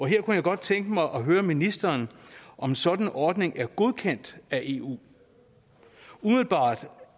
her kunne jeg godt tænke mig at høre ministeren om sådan en ordning er godkendt af eu umiddelbart